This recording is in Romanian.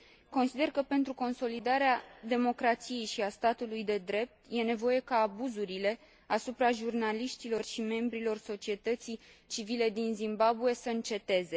Consider că, pentru consolidarea democrației și a statului de drept, este nevoie ca abuzurile asupra jurnaliștilor și membrilor societății civile din Zimbabwe să înceteze.